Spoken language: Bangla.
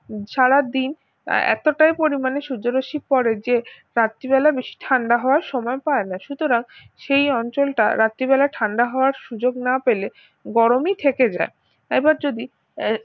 সারাদিন এতটাই পরিমাণে সূর্য রশ্মি পড়ে যে রাত্রিবেলা বেশি ঠান্ডা হওয়ার সময় পায় না সুতরাং সেই অঞ্চলটা রাত্রিবেলা ঠান্ডা হওয়ার সুযোগ না পেলে গরমই থেকে যায় এবার যদি আহ